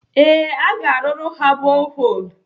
Ee, aga arụrụ ha boholu.